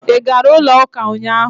Ị gara ụlọ ụka ụnyaahụ?